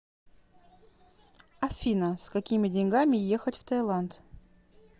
афина с какими деньгами ехать в таиланд